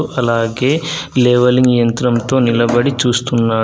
అలాగే లేవలింగ్ యంత్రంతో నిలబడి చూస్తున్నాడు.